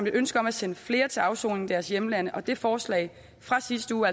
et ønske om at sende flere til afsoning i deres hjemland og det forslag fra sidste uge